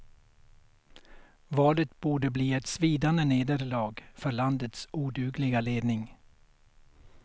Valet borde bli ett svidande nederlag för landets odugliga ledning.